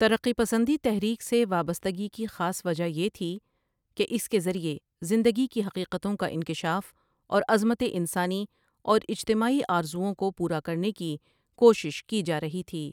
ترقی پسندی تحریک سے وابستگی کی خاص وجہ یہ تھی کہ اس کے ذریعے زندگی کی حقیقتوں کا انکشاف اور عظمت ِ انسانی اور اجتماعی آرزوئوں کو پورا کرنے کی کوشش کی جا رہی تھی ۔